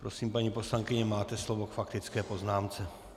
Prosím, paní poslankyně, máte slovo k faktické poznámce.